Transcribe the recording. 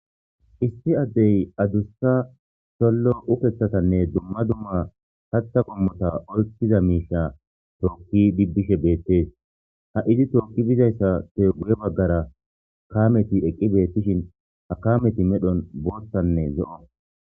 Issi addey adussa sollo ukeththatanne dumma dumma pata qommota oykkiza miisha tookki dibbishe beettees ha izi tookki bizayssa te guye baggara kaameti eqqi beettishin ha kameti medhon boothanne zo'o.